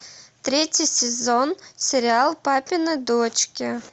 третий сезон сериал папины дочки